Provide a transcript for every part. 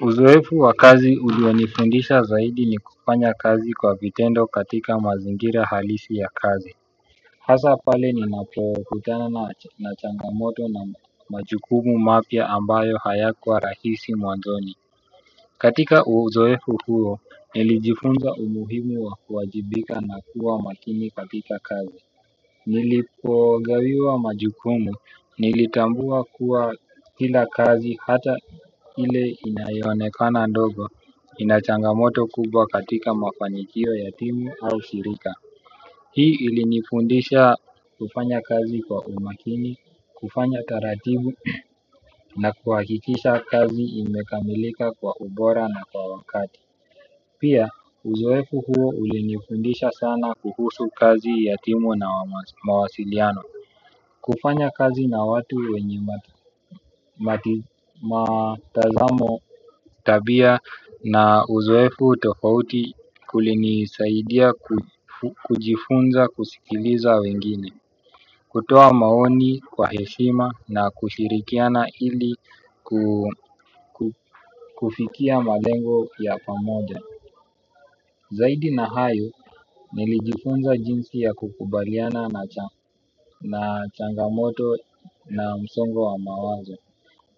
Uzoefu wa kazi ulionifundisha zaidi ni kufanya kazi kwa vitendo katika mazingira halisi ya kazi hasaa pale ninapokutana na changamoto na majukumu mapya ambayo hayakua rahisi mwanzoni katika uzoefu huo, nilijifunza umuhimu wa kuwajibika na kuwa makini katika kazi. Nilipogawiwa majukumu nilitambua kuwa kila kazi hata ile inayoonekana ndogo inachangamoto kubwa katika mafanikio ya timu au shirika hii ilinifundisha kufanya kazi kwa umakini, kufanya taratibu na kuhakikisha kazi imekamilika kwa ubora na kwa wakati pia uzoefu huo ulinifundisha sana kuhusu kazi ya timu na mawasiliano kufanya kazi na watu wenye matazamo tabia na uzoefu tofauti kulinisaidia kujifunza kusikiliza wengine kutoa maoni kwa heshima na kushirikiana ili kufikia malengo ya pamoja zaidi na hayo, nilijifunza jinsi ya kukubaliana na changamoto na msongo wa mawazo.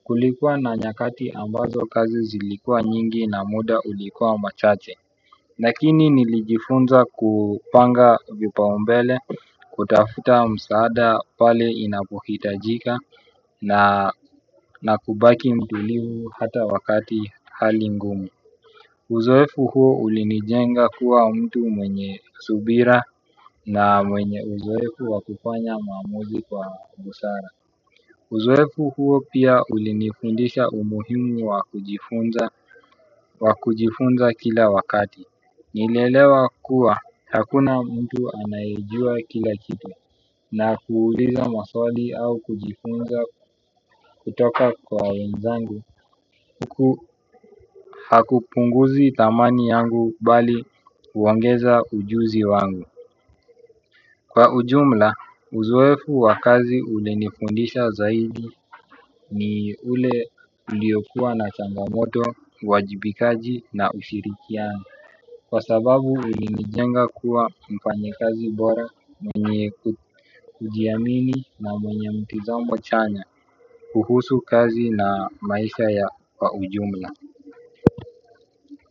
Kulikua na nyakati ambazo kazi zilikua nyingi na muda ulikua machache lakini nilijifunza kupanga vipaumbele kutafuta msaada pale inapohitajika na kubaki mtulivu hata wakati hali ngumu uzoefu huu ulinijenga kuwa mtu mwenye subira na mwenye uzoefu wakufanya maamuzi kwa busara uzoefu huo pia ulinifundisha umuhimu wa kujifunza kila wakati. Nilielewa kuwa hakuna mtu anayejua kila kitu na kuuliza maswali au kujifunza kutoka kwa wenzangu huku hakupunguzi dhamani yangu bali kuongeza ujuzi wangu, kwa ujumla uzoefu wa kazi ulinifundisha zaidi ni ule uliokua na changamoto uwajibikaji na ushirikiano kwa sababu ulinijenga kuwa mfanyikazi bora mwenye kujiamini na mwenye mtazamo chanya kuhusu kazi na maisha ya kwa ujumla.